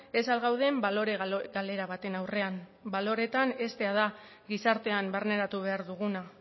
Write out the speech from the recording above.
ez al gauden balore galera baten aurrean baloreetan heztea da gizartean barneratu behar duguna